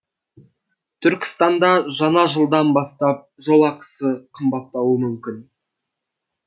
түркістанда жаңа жылдан бастап жол ақысы қымбаттауы мүмкін